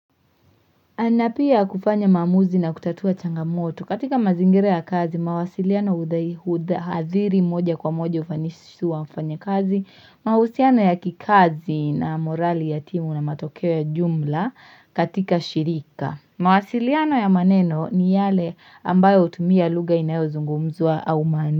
Napia kufanya mamuzi na kutatua changamoto. Katika mazingira ya kazi, mawasiliano huadhiri moja kwa moja ufanisi wa mfanyakazi, mahusiano ya kikazi na morali ya timu na matokeo ya jumla katika shirika. Mawasiliano ya maneno ni yale ambayo utumia luga inayo zungumzwa au mandishi.